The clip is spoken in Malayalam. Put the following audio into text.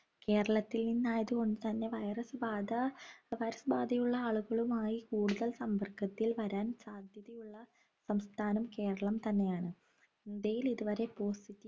കേരളത്തിൽ നിന്നായതു കൊണ്ട് തന്നെ virus ബാധാ virus ബാധ യുള്ള ആളുകളുമായി കൂടുതൽ സമ്പർക്കത്തിൽ വരാൻ സാധ്യതയുള്ള സംസ്ഥാനം കേരളം തന്നെയാണ് ഇന്ത്യയിൽ ഇതുവരെ